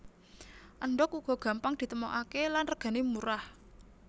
Endhog uga gampang ditemokaké lan regané murah